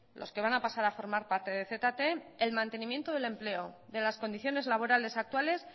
los que van a pasar a formar parte de zte el mantenimiento del empleo de las condiciones laborales actuales